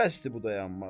Bəsdir bu dayanmaq.